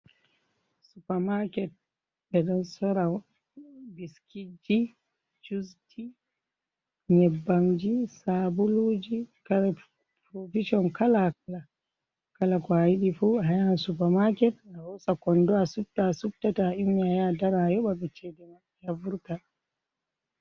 Supa maaket ɓe ɗon soora biskijji, jusji, nyebbanji, sabuluji, kare provison kala-kala, kala ko ayiɗifuu ayaha supa maaket ahosa kondo asupta-asupta to annyummi ayaha adara ayoɓaɓe ceede maɓɓe a vurta.